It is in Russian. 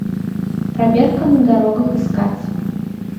проверка на дорогах искать